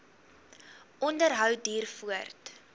onderhou duur voort